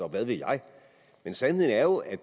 og hvad ved jeg men sandheden er jo at